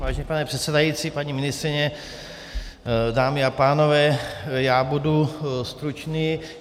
Vážený pane předsedající, paní ministryně, dámy a pánové, já budu stručný.